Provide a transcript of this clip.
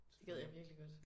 Det gad jeg virkelig godt